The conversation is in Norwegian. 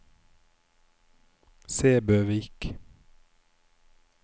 Sæbøvik